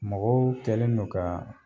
Mɔgɔw kɛlenno kaa